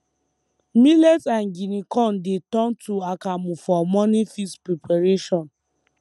millet and guinea corn dey turn to akamu for morning feast preparation